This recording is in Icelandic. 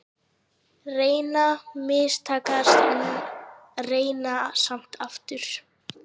Reyna- mistakast, en reyna samt aftur.